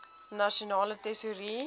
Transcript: nasionale tesourie